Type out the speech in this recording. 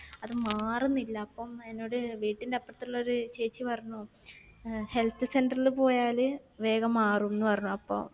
അത് മാറുന്നില്ല. അപ്പം എന്നോട് വീട്ടിന്റെ അപ്പുറത്തുള്ളൊരു ചേച്ചി പറഞ്ഞു health center ൽ പോയാൽ വേഗം മാറും എന്ന് പറഞ്ഞു. അപ്പൊ